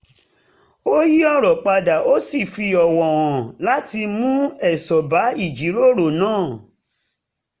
ó yí ọ̀rọ̀ padà ó sì fi ọwò hàn láti mú èso bá ìjíròrò náà